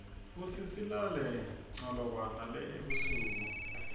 futsi silale nqalokwa nele ebusuk